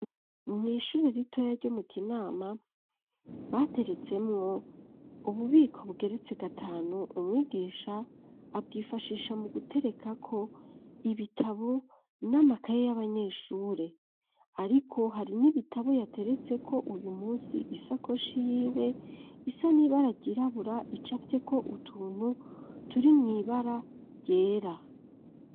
Mwishure ritoya ryo mu kinama bateretsemwo ububiko bugeretse gatanu umwigisha abwifashisha mu guterekako ibitabo n'amakaye y'abanyeshure, ariko hari n'ibitabo yateretse ko uyu musi isakoshi yiwe isa n'iba ragyirabura ico afite ko utuntu turi mw'ibara ryera.